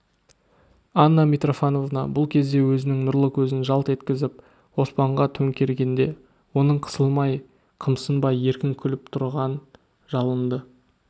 анна митрофановна бұл кезде өзінің нұрлы көзін жалт еткізіп оспанға төңкергенде оның қысылмай қымсынбай еркін күліп тұрған жалынды